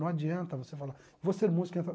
Não adianta você falar, vou ser músico e entrar.